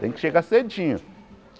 Tem que chegar cedinho.